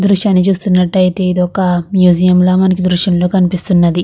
దృశ్యని చూస్తునట్టు ఐతే ఇదొక మ్యూజియం లో మనకు దృశ్యంలో కనిపిస్తున్నది.